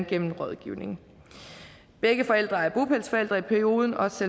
gennem rådgivning begge forældre er bopælsforældre i perioden også